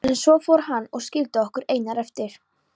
En svo fór hann og skildi okkur einar eftir.